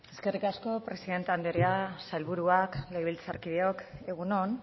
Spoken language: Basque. eskerrik asko presidente andrea sailburuak legebiltzarkideok egun on